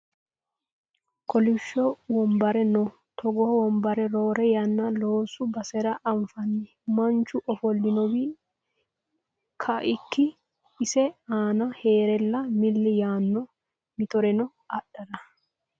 Kolisho wonbare no. Togoo wonbare roore yanna loosu basera anfanni. Manchu ofolinowi kaikki ise aana heerella milli yaanno mittoreno adhara.